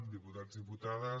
diputats diputades